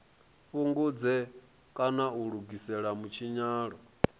fhungudze kana a lugise mutshinyalo